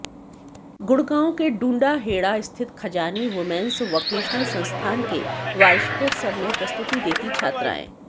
गुड़गांव के डूंडाहेडा स्थित Khajani women's vocational संस्थान के वार्षिकोत्सव में प्रस्तुति देती छात्राएं